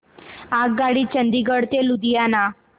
आगगाडी चंदिगड ते लुधियाना